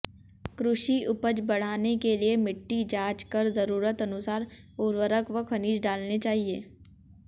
कृषि उपज बढ़ाने के लिए मिट्टी जांच कर जरूरत अनुसार उर्वरक व खनिज डालने चाहिए